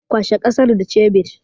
Kwashe ƙasar da cebir